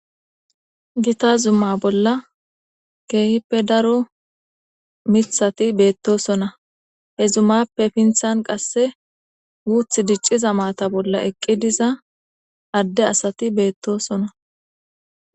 gita zumma bolla kehipe daro mithati betosona he zummappe sinthan qase guthi diciza maata eqi diza ade asati betosona